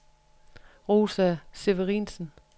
Rosa Severinsen